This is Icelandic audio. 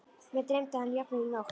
Mig dreymdi hann jafnvel í nótt.